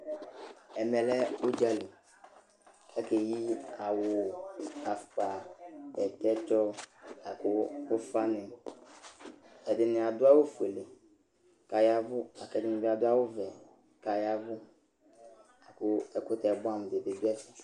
Ɛmɛ lɛ ʋdza li kʋ akeyi awʋ, afʋkpa, bɛtɛtsɔ la kʋ ʋfanɩ Ɛdɩnɩ adʋ awʋfuele kʋ aya ɛvʋ la kʋ ɛdɩnɩ bɩ adʋ awʋvɛ kʋ aya ɛvʋ la kʋ ɛkʋtɛ bʋɛamʋ dɩ bɩ dʋ ɛfɛ